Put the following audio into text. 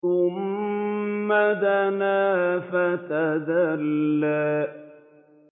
ثُمَّ دَنَا فَتَدَلَّىٰ